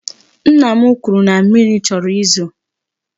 Nna m kwuru na mmiri chọrọ izo.